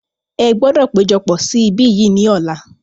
Ẹ gbọdọ̀ péjọpọ̀ sí ibí yìí ni ọ̀la.